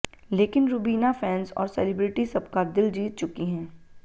लेकिन रूबीना फैन्स और सेलिब्रिटी सबका दिल जीत चुकी हैं